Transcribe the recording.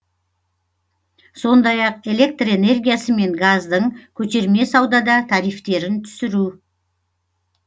сондай ақ электр энергиясы мен газдың көтерме саудада тарифтерін түсіру